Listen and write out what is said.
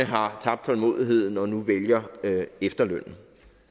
har tabt tålmodigheden og nu vælger efterlønnen